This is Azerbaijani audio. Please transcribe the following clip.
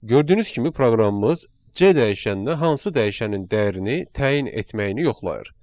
Gördüyünüz kimi proqramımız C dəyişəninə hansı dəyişənin dəyərini təyin etməyini yoxlayır.